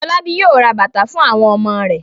Fọlábí yóò ra bàtà fún àwon ọmọ rẹ̀.